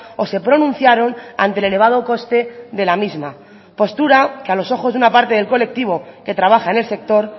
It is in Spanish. o se pronunciaron ante el elevado coste de la misma postura que a los ojos de una parte del colectivo que trabaja en el sector